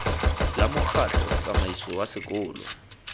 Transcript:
la mokgatlho tsamaiso wa sekolo